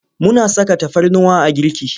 Muna saka tafarnuwa a girki.